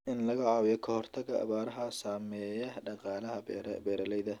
In laga caawiyo ka hortagga abaaraha saameeya dhaqaalaha beeralayda.